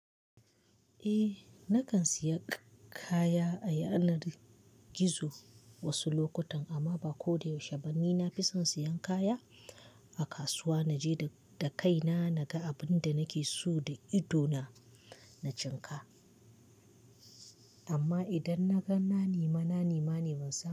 Eh na kan siya kaya a yanar gizo wasu lokutan amma ba ko da yaushe bane. Na fi son siyan kaya a kasuwa, na je da kaina, na ga abin da nake so da idona na cin ka. Amma idan na gan na nema, na nema ne ban saya ba.